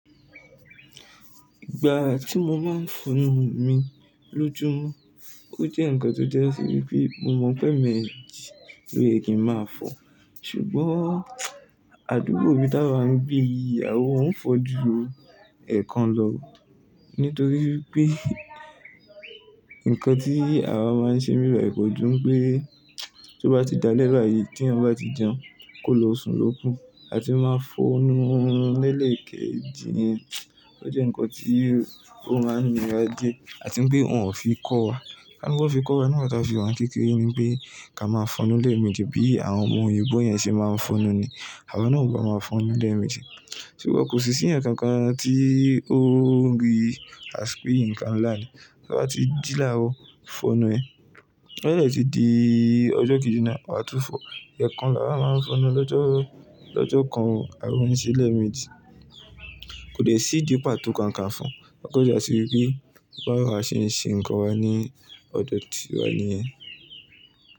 Ìgbà tí mo máa ń fọnu mi lójoojúmọ́, ó jẹ́ ǹkan tó jẹ́ wí pé mo mọ̀ pé èèmejì ló ye kí ń máa fọ̀. Ṣùgbọ́n, àdúgbò mi táwà ń gbé yìí, awà ò ń fò jù ẹ̀ẹ̀kan lọ nítorí pé, nǹkan tí àwa máa ń ṣe ni bí bàyi kó ju pé tó bá ti alé báyi, tí èyàn bá ti jẹun, kó lo sùn lókù, a ti máa fọnu ni èkejì yẹn. Ó jẹ́ nǹkan tí ó máa ń nira díẹ̀, àti wípé, wọn ò fi kọ́ wa. Kà ni wọn fi kọ́ wa nígbà tí a wà ní kékeré ni pé ká máa fọnu lẹ́ẹ̀mejì bí àwọn òyìnbó yẹn ṣe máa ń fọnu ni. Àwa náà ò bá máa fọnu lẹ́ẹ̀mejì. Ṣùgbọ́n kò sí sí èyàn kankan tí ó ń rí àṣpíǹkan ńlá ni. Tó bá ti jí láàárò, fọnu ẹ. Tó bá dé tí di ọjọ́ kejì náà, wọ́n á tún fọ. Ẹ̀ẹ̀kan la wà máa ń fọnu lọ́jọ́ kan o, àwa ò ń se lẹ́ẹ̀mejì. Kò dé sí ìdí pàtó kankan fún, bá wa se ń se nńkan wa lódò ti wa nìyen.